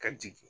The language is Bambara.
Ka jigin